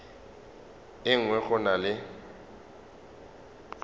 e nngwe go na le